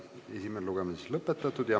Esimene lugemine on lõpetatud.